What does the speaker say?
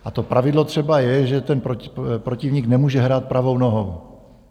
A to pravidlo třeba je, že ten protivník nemůže hrát pravou nohou.